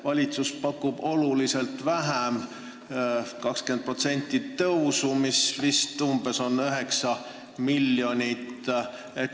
Valitsus pakub oluliselt vähem, 20% tõusu, mis nõuab vist umbes 9 miljonit.